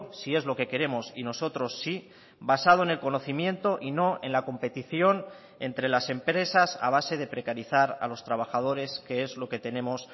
si es lo que queremos y nosotros sí basado en el conocimiento y no en la competición entre las empresas a base de precarizar a los trabajadores que es lo que tenemos